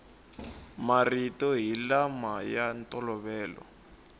marito hi lama ya ntolovelo